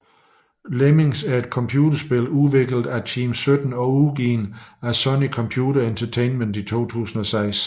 Lemmings er et computerspil udviklet af Team17 og udgivet af Sony Computer Entertainment i 2006